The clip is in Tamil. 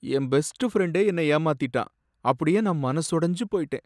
என் பெஸ்ட் ஃபிரண்டே என்ன ஏமாத்திட்டான், அப்படியே நான் மனசு உடைஞ்சு போயிட்டேன்.